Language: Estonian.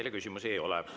Teile küsimusi ei ole.